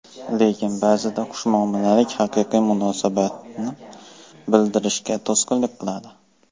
Lekin ba’zida xushmuomalalik haqiqiy munosabatni bildirishga to‘sqinlik qiladi.